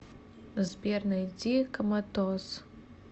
сбер найди коматоз